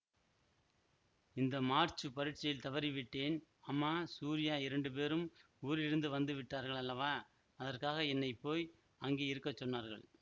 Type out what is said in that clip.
இந்த மார்ச்சு பரீட்சையில் தவறிவிட்டேன் அம்மா சூரியா இரண்டு பேரும் ஊரிலிருந்து வந்து விட்டார்கள் அல்லவா அதற்காக என்னை போய் அங்கே இருக்க சொன்னார்கள்